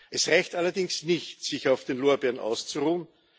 Es reicht allerdings nicht, sich auf den Lorbeeren auszuruhen.